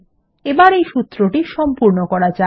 এবার এই সূত্রটি সম্পূর্ণ করা যাক